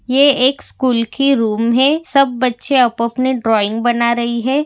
ये एक स्कूल की रूम है सब बच्चे अप आपने ड्रॉइंग बना रही है।